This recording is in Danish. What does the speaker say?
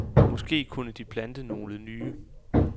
Måske kunne de plante nogle nye.